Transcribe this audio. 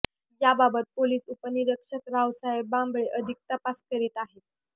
याबाबत पोलीस उपनिरीक्षक रावसाहेब बांबळे अधिक तपास करीत आहेत